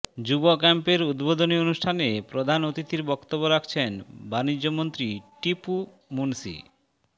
যুব ক্যাম্পের উদ্বোধনী অনুষ্ঠানে প্রধান অতিথির বক্তব্য রাখছেন বাণিজ্যমন্ত্রী টিপু মুনশি